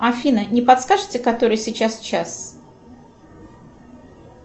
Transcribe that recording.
афина не подскажете который сейчас час